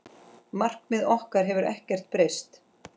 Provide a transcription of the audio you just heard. Markmið okkar hafa ekkert breyst.